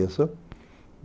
Isso.